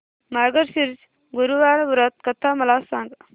मार्गशीर्ष गुरुवार व्रत कथा मला सांग